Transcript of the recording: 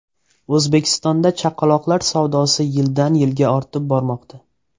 O‘zbekistonda chaqaloqlar savdosi yildan yilga ortib bormoqda.